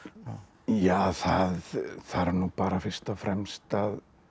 ja það þarf nú bara fyrst og fremst að